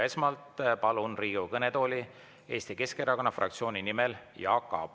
Esmalt palun Riigikogu kõnetooli Eesti Keskerakonna fraktsiooni esindaja Jaak Aabi.